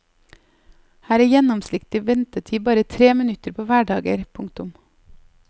Her er gjennomsnittlig ventetid bare tre minutter på hverdager. punktum